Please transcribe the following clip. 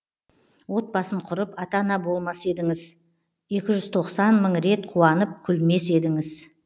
отбасын құрып ата ана болмас едіңіз екі жүз тоқсан мың рет қуанып күлмес едіңіз